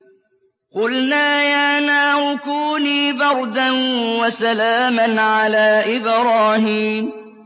قُلْنَا يَا نَارُ كُونِي بَرْدًا وَسَلَامًا عَلَىٰ إِبْرَاهِيمَ